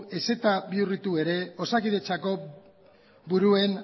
ezta bihurritu ere osakidetzako buruen